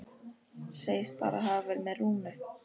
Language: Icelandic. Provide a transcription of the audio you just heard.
Segist bara hafa verið með Rúnu.